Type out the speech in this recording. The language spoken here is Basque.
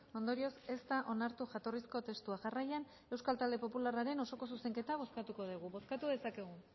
ondorioz ez da onartu jatorrizko testua jarraian euskal talde popularraren osoko zuzenketa bozkatuko dugu bozkatu dezakegu